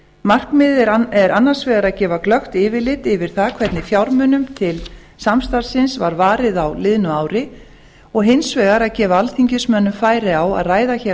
markmiðið er annars vegar að gefa glöggt yfirlit yfir það hvernig fjármunum til samstarfsins var varið á liðnu ári og hins vegar að gefa alþingismönnum færi á að ræða hér á